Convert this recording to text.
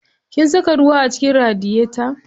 Kin saka ruwa a cikin radiyeta?